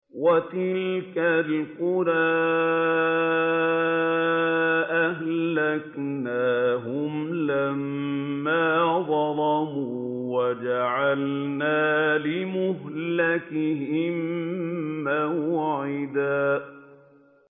وَتِلْكَ الْقُرَىٰ أَهْلَكْنَاهُمْ لَمَّا ظَلَمُوا وَجَعَلْنَا لِمَهْلِكِهِم مَّوْعِدًا